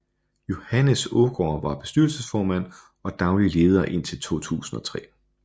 Johannes Aagaard var bestyrelsesformand og daglig leder indtil 2003